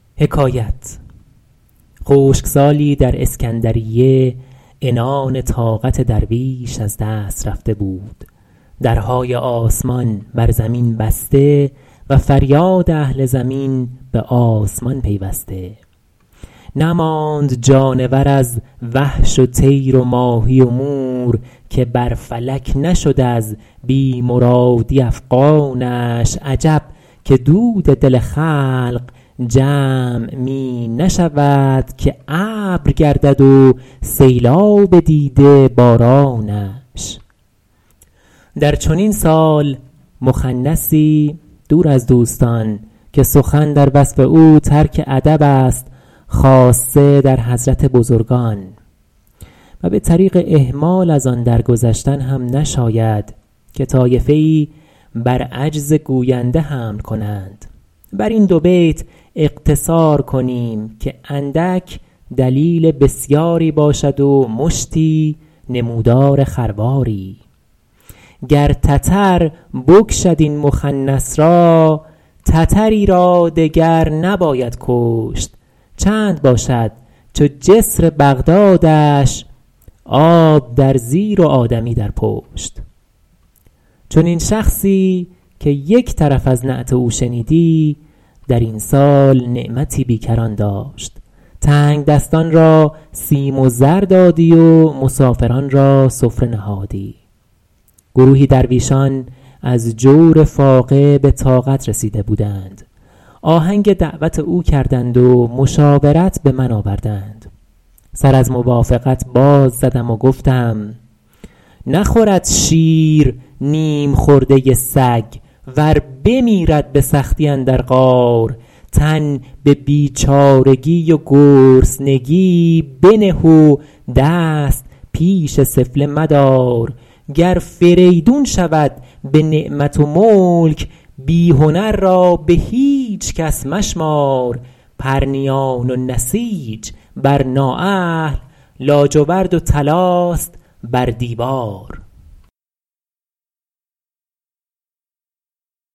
خشکسالی در اسکندریه عنان طاقت درویش از دست رفته بود درهای آسمان بر زمین بسته و فریاد اهل زمین به آسمان پیوسته نماند جانور از وحش و طیر و ماهی و مور که بر فلک نشد از بی مرادی افغانش عجب که دود دل خلق جمع می نشود که ابر گردد و سیلاب دیده بارانش در چنین سال مخنثی دور از دوستان که سخن در وصف او ترک ادب است خاصه در حضرت بزرگان و به طریق اهمال از آن در گذشتن هم نشاید که طایفه ای بر عجز گوینده حمل کنند بر این دو بیت اقتصار کنیم که اندک دلیل بسیاری باشد و مشتی نمودار خرواری گر تتر بکشد این مخنث را تتری را دگر نباید کشت چند باشد چو جسر بغدادش آب در زیر و آدمی در پشت چنین شخصی -که یک طرف از نعت او شنیدی- در این سال نعمتی بیکران داشت تنگدستان را سیم و زر دادی و مسافران را سفره نهادی گروهی درویشان از جور فاقه به طاقت رسیده بودند آهنگ دعوت او کردند و مشاورت به من آوردند سر از موافقت باز زدم و گفتم نخورد شیر نیم خورده سگ ور بمیرد به سختی اندر غار تن به بیچارگی و گرسنگی بنه و دست پیش سفله مدار گر فریدون شود به نعمت و ملک بی هنر را به هیچ کس مشمار پرنیان و نسیج بر نااهل لاجورد و طلاست بر دیوار